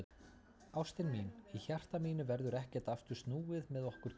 Ástin mín, í hjarta mínu verður ekkert aftur snúið með okkur tvö.